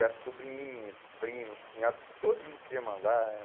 E as sobrinhas, primos, cunhados, todo mundo queria mandar.